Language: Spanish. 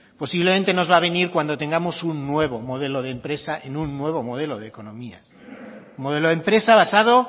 posiblemente nos va a venir cuando tengamos un nuevo modelo de empresa en un nuevo modelo de economía un modelo de empresa basado